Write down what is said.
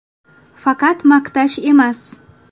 Faqat maqtash emas.